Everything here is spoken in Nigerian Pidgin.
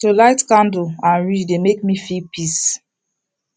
to light candle and read dey make me feel peace